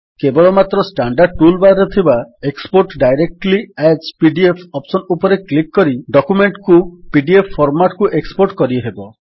କେବଳମାତ୍ର standard toolbar ରେ ଥିବା export directly as PDF option ଉପରେ କ୍ଲିକ୍ କରି ଡକ୍ୟୁମେଣ୍ଟ୍ କୁ ପିଡିଏଫ୍ ଫର୍ମାଟ୍ କୁ ଏକ୍ସପୋର୍ଟ କରିହେବ